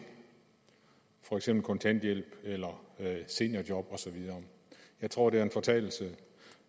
for eksempel kontanthjælp eller seniorjob og så videre jeg tror det var en fortalelse